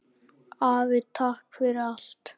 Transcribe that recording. Afi, takk fyrir allt!